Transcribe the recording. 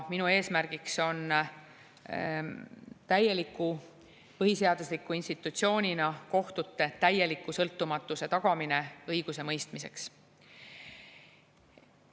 Minu eesmärgiks on tagada kohtute kui põhiseadusliku institutsiooni täielik sõltumatus õigusemõistmiseks.